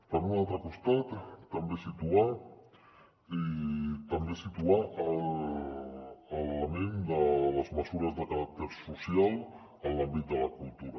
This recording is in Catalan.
per un altre costat també situar l’element de les mesures de caràcter social en l’àmbit de la cultura